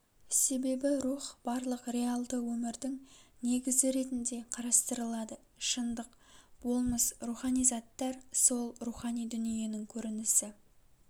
себебі рух барлық реалды өмірдің негізі ретінде карастырылады шындық болмыс рухани заттар сол рухани дүниенің көрінісі